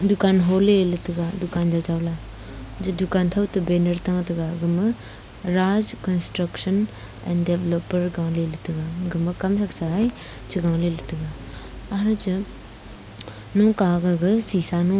dukan hole le taiga dukan jawjaw la je dukan thouto banner ta tega gama raj construction developer galey ley taiga agma kam thraksae chegaley ley taiga hanche noka gaga shisha no--